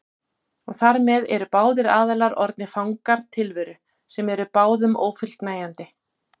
Og þar með eru báðir aðilar orðnir fangar tilveru sem er báðum ófullnægjandi.